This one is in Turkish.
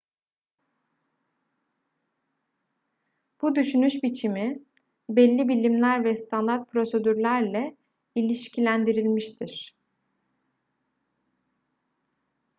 bu düşünüş biçimi belli bilimler ve standart prosedürlerle ilişkilendirilmiştir